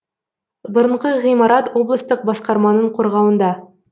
бұрынғы ғимарат облыстық басқарманың қорғауында